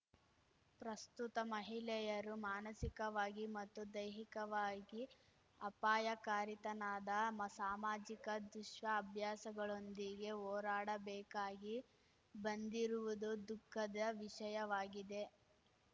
ಪ್ರಸ್ತುತ ಮಹಿಳೆಯರು ಮಾನಸಿಕವಾಗಿ ಮತ್ತು ದೈಹಿಕವಾಗಿ ಅಪಾಯಕಾರಿತನದ ಮಾಸಾ ಸಾಮಾಜಿಕ ದುಷ್ಟಅಭ್ಯಾಸಗಳೊಂದಿಗೆ ಹೋರಾಡಬೇಕಾಗಿ ಬಂದಿರುವುದು ದುಃಖದ ವಿಷಯವಾಗಿದೆ